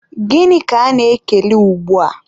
gịnị ka ana-ekele ugbua?